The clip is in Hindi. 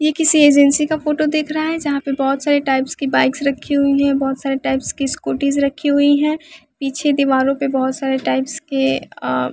ये किसी एजेंसी का फोटो दिख रहा है जहाँ पे बहुत सारे टाइप्स की बाइक्स रखी हुई हैं बहुत सारे टाइप्स की स्कूटीज रखी हुई हैं पीछे दीवारों पर बहुत सारे टाइप्स के अ --